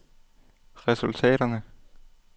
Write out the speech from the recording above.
resultaterne